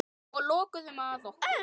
Og lokuðum að okkur.